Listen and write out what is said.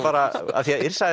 af því að Yrsa